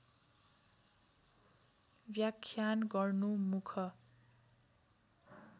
व्याख्यान गर्नु मुख